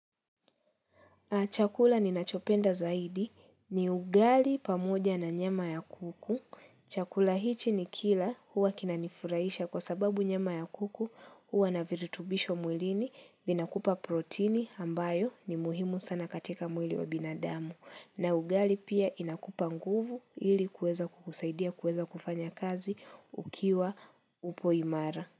Chakula ninachopenda zaidi ni ugali pamoja na nyama ya kuku. Chakula hichi nikila huwa kinanifurahisha kwa sababu nyama ya kuku huwa na virutubisho mwilini, vinakupa protini ambayo ni muhimu sana katika mwili wa binadamu. Na ugali pia inakupa nguvu ili kueza kukusaidia kueza kufanya kazi ukiwa upo imara.